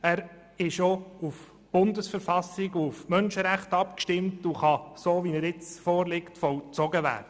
Er ist auf die Bundesverfassung und auf die Menschenrechte abgestimmt und kann, so wie er jetzt vorliegt, vollzogen werden.